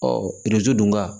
dun ka